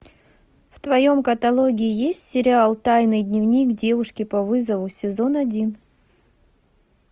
в твоем каталоге есть сериал тайный дневник девушки по вызову сезон один